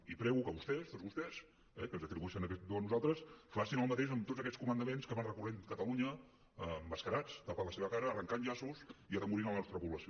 i prego que vostès tots vostès eh que ens atribueixen aquest do a nosaltres facin el mateix amb tots aquests comandaments que van recorrent catalunya emmascarats tapant la seva cara arrencant llaços i atemorint a la nostra població